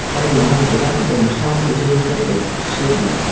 panlo ngan taiga gama thramku jaji katlo shap ding thram.